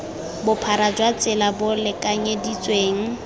bophara jwa tsela bo lekanyeditsweng